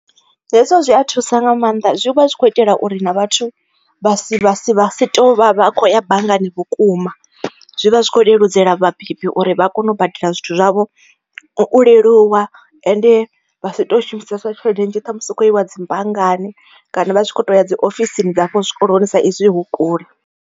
Hezwo zwi a thusa nga maanḓa zwi vha zwi khou itela uri na vhathu vha si vha sie vha si tovha vha khou ya banngani vhukuma, zwi vha zwi kho leludzela vhabebi uri vha kone u badela zwithu zwavho uleluwa ende vha si to shumisesa tshelede nnzhi ṱhamusi hukho iwa dzi banngani kana vha tshi kho to ya dzi ofisini dza hafha zwikoloni sa izwi hu kule.